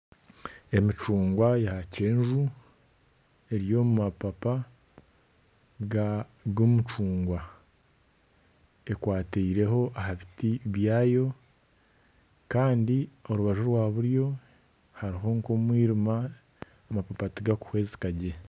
Emicungwa ya kyenju eri omu mapapa g'omucungwa, ekwataireho aha biti byayo kandi orubaju orwa buryo hariho nk'omwirima amapapa tigarikuhwezika gye